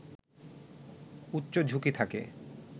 উচ্চ ঝুঁকি থাকে